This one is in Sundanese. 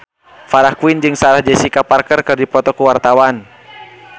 Farah Quinn jeung Sarah Jessica Parker keur dipoto ku wartawan